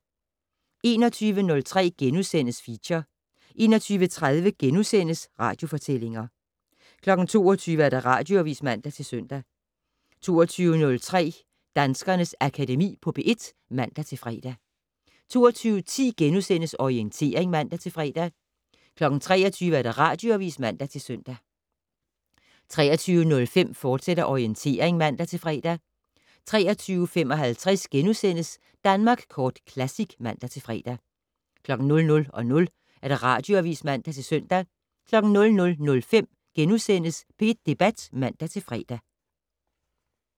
21:03: Feature * 21:30: Radiofortællinger * 22:00: Radioavis (man-søn) 22:03: Danskernes Akademi på P1 (man-fre) 22:10: Orientering *(man-fre) 23:00: Radioavis (man-søn) 23:05: Orientering, fortsat (man-fre) 23:55: Danmark Kort Classic *(man-fre) 00:00: Radioavis (man-søn) 00:05: P1 Debat *(man-fre)